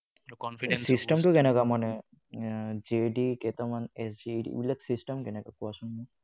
এই system টো কেনেকুৱা মানে? JD কেইটামান, এইবোৰ যে SG এইবোৰ যে system কেনেকুৱা কোৱাচোন।